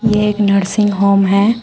यह एक nursing home है।